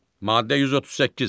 Maddə 138.